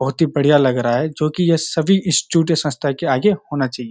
बहुत ही बढ़िया लग रहा है जो कि ये सभी इंस्टिट्यूट या संस्था के आगे होना चाहिए।